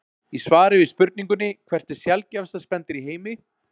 Í svari við spurningunni Hvert er sjaldgæfasta spendýr í heimi?